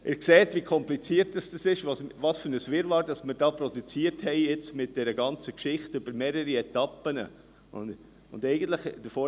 () Sie sehen, wie kompliziert das ist, welches Wirrwarr wir mit der ganzen Geschichte über mehrere Etappen produziert haben.